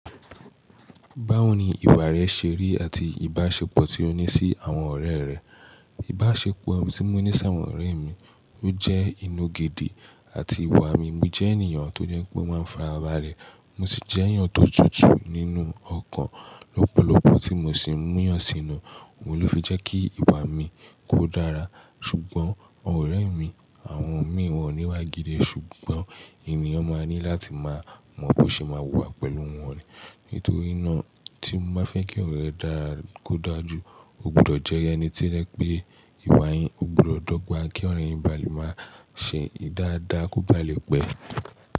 Báwo ni ìwà rẹ ṣe rí àti ìbáṣepọ̀ tí o ní sí àwọn ọ̀rẹ́ rẹ? Ìbáṣepọ̀ tí mo ní sí àwọn ọ̀rẹ́ mi, ó jẹ́ ìnúgidi àti ìwà mi. Mo jẹ́ ènìyàn tó jẹ́ pé ó máa ń fa ara bale. Mo sì jẹ́ ènìyàn tó tutù nínú ọkàn. Lọ́pọ̀lọpọ̀ tí mi o sì ń múyàn sínú, òun ló fi jẹ́ kí ìwà mi kó dára. Ṣùgbọ́n àwọn ọ̀rẹ́ mi, àwọn mi wọ́n ò ní iwá gidi. Ṣùgbọ́n ènìyàn máa ní láti máa mọ̀ bó ṣe máa wùwà pẹ̀lú wọn orẹ̀. Nítorí náà, tí mo máa fẹ́ kí ọ̀rẹ́ ẹ dára kó dáa ju, o gbọdọ̀ jẹ́ ẹni tí rẹ̀ pé ìwà yín o gbọdọ̀ gbà, kí ọ̀rẹ́ yín balẹ̀ máa ṣe dáadáa kó ba à le pẹ̀.